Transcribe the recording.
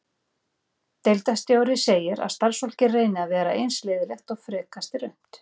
Deildarstjóri segir að starfsfólkið reyni að vera eins liðlegt og frekast er unnt.